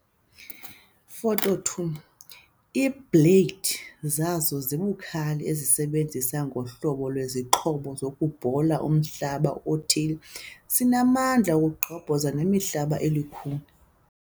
Photo 2- Iibleyidi zaso zibukhali ezisebenza ngokohlobo lwesixhobo sokubhola umhlaba othile sinamandla okugqobhoza nemihlaba elukhuni.